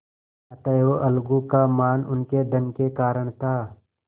अतएव अलगू का मान उनके धन के कारण था